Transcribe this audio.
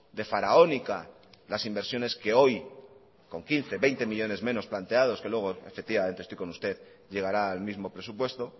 de faraónica las inversiones que hoy con quince veinte millónes menos planteados que luego efectivamente estoy con usted llegará al mismo presupuesto